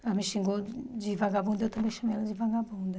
Ela me xingou de vagabunda, eu também chamei ela de vagabunda.